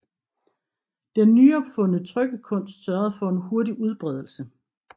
Den nyopfundne trykkekunst sørgede for en hurtig udbredelse